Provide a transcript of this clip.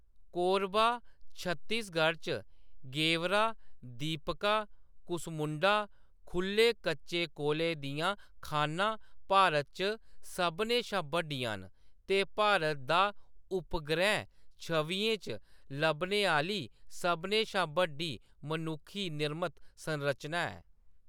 कोरबा, छत्तीसगढ़ च गेवरा, दीपका, कुसमुंडा खु'ल्ले कच्चे कोले दियां खानां भारत च सभनें शा बड्डियां न ते भारत दा उपग्रैह् छवियें च लब्भने आह्‌ली सभनें शा बड्डी मनुक्खी निर्मत संरचना ऐ।